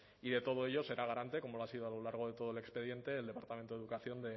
y de todo ello será garante como lo ha sido a lo largo de todo el expediente el departamento de educación